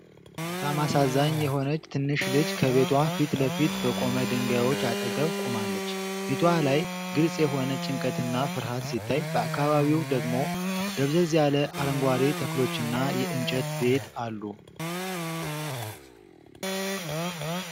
በጣም አሳዛኝ የሆነች ትንሽ ልጅ ከቤቷ ፊት ለፊት በቆሙ ድንጋዮች አጠገብ ቆማለች። ፊቷ ላይ ግልጽ የሆነ ጭንቀትና ፍርሃት ሲታይ፣ በአካባቢው ደግሞ ደብዘዝ ያለ አረንጓዴ ተክሎችና የእንጨት ቤት አሉ።